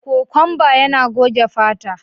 Kokwanba yana goge fata.